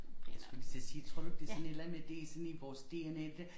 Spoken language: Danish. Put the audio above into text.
Jeg skulle lige til at sige tror du ikke det sådan et eller andet med det i sådan vores dna det der